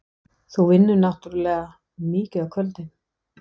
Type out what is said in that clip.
Þú vinnur náttúrlega mikið á kvöldin.